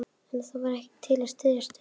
En það var ekkert til að styðjast við.